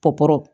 Kɔkɔ